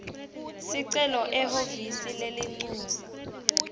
sicelo ehhovisi lelincusa